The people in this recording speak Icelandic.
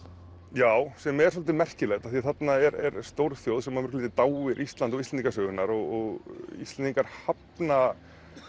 já sem er svolítið merkilegt af því að þarna er stórþjóð sem að dáir Ísland og Íslendingasögurnar og Íslendingar hafna